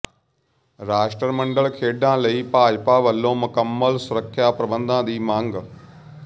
ਰਾਸ਼ਟਰਮੰਡਲ ਖੇਡਾਂ ਲਈ ਭਾਜਪਾ ਵੱਲੋਂ ਮੁਕੰਮਲ ਸੁਰੱਖਿਆ ਪ੍ਰਬੰਧਾਂ ਦੀ ਮੰਗ